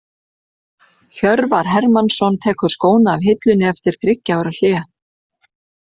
Hjörvar Hermannsson tekur skóna af hillunni eftir þriggja ára hlé.